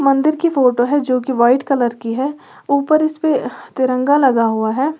मंदिर की फोटो है जो की व्हाइट कलर की है ऊपर इसपे तिरंगा लगा हुआ है।